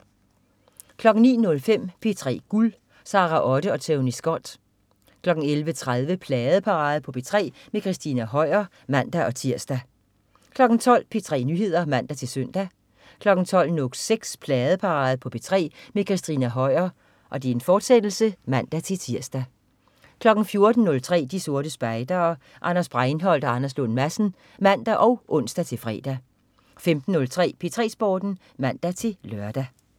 09.05 P3 Guld. Sara Otte og Tony Scott 11.30 Pladeparade på P3 med Christina Høier (man-tirs) 12.00 P3 Nyheder (man-søn) 12.06 Pladeparade på P3 med Christina Høier, fortsat (man-tirs) 14.03 De Sorte Spejdere. Anders Breinholt og Anders Lund Madsen (man og ons-fre) 15.03 P3 Sporten (man-lør)